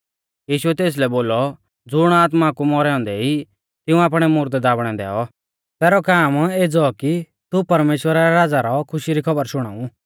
यीशुऐ तेसलै बोलौ ज़ुण आत्मा कु मौरै औन्दै ई तिऊं आपणै मुर्दै दाबणै दैऔ तैरौ काम एज़ौ कि तू परमेश्‍वरा रै राज़ा रौ खुशी री खौबर शुणाऊ